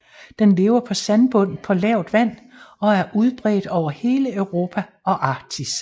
Den lever på sandbund på lavt vand og er udbredt over hele Europa og Arktis